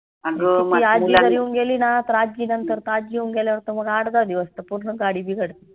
येऊन गेली ना तर आज्जी नंतर आज्जी येऊन गेल्यावर त मग आठ दाहा दिवस त पूर्ण गाडी बिघडते